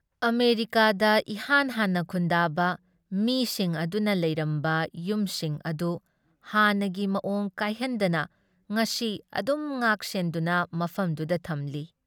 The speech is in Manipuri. ꯑꯃꯦꯔꯤꯀꯥꯗ ꯏꯍꯥꯟ ꯍꯥꯟꯅ ꯈꯨꯟꯗꯥꯕ ꯃꯤꯁꯤꯡ ꯑꯗꯨꯅ ꯂꯩꯔꯝꯕ ꯌꯨꯝꯁꯤꯡ ꯑꯗꯨ ꯍꯥꯟꯅꯒꯤ ꯃꯑꯣꯡ ꯀꯥꯏꯍꯟꯗꯅ ꯉꯁꯤ ꯑꯗꯨꯝ ꯉꯥꯛ ꯁꯦꯟꯗꯨꯅ ꯃꯐꯝꯗꯨꯗ ꯊꯝꯂꯤ ꯫